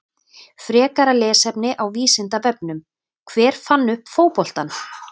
Frekara lesefni á Vísindavefnum: Hver fann upp fótboltann?